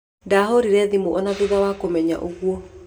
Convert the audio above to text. Ndahũrĩĩre thimũ ona thutha wa kũmenya ũguo